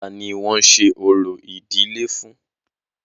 Ta ni wọ́n ń ṣe orò ìdílé fún?